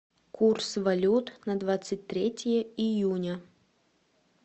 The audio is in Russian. курс валют на двадцать третье июня